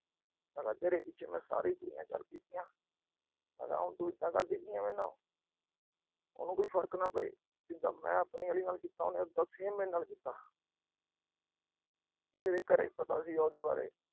ਮੈਂ ਤੇਰੇ ਪਿੱਛੇ ਸਾਰੀਆਂ ਕੁੜੀਆਂ ਛੱਡ ਤੀਆਂ ਮੈਂ ਕਿਹਾ ਤੂੰ ਇਦਾ ਕਰਦੀ ਪਈ ਆ ਮੇਰੇ ਨਾਲ। ਉਹਨੂੰ ਕੋਈ ਫਰਕ ਨਾ ਪਏ। ਜਿਦਾ ਮੈਂ ਆਪਣੀ ਆਲੀ ਨਾਲ ਕੀਤਾ, ਉਹਨੇ ਉਦਾ same ਮੇਰੇ ਨਾਲ ਕੀਤਾ। ਮੇਰੇ ਘਰੇ ਪਤਾ ਸੀਗਾ ਉਹਦੇ ਬਾਰੇ।